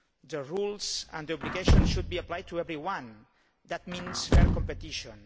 The rules and the obligations should be applied to everyone, which means fair competition.